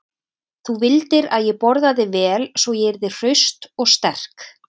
Þú vildir að ég borðaði vel svo ég yrði hraust og sterk.